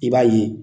I b'a ye